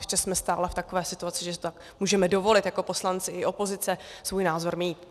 Ještě jsme stále v takové situaci, že si to můžeme dovolit jako poslanci i opozice, svůj názor mít.